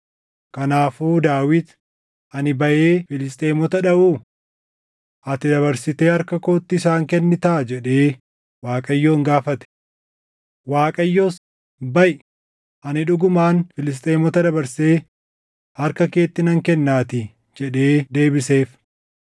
kanaafuu Daawit, “Ani baʼee Filisxeemota dhaʼuu? Ati dabarsitee harka kootti isaan kennitaa?” jedhee Waaqayyoon gaafate. Waaqayyos, “Baʼi; ani dhugumaan Filisxeemota dabarsee harka keetti nan kennaatii” jedhee deebiseef.